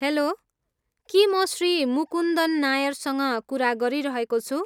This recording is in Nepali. हेल्लो! के म श्री मुकुन्दन नायरसँग कुरा गरिरहेको छु?